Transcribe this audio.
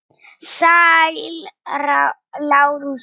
Sæll, Lárus minn.